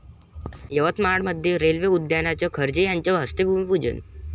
यवतमाळमध्ये रेल्वे उद्यानाचं खर्गे यांच्या हस्ते भूमिपूजन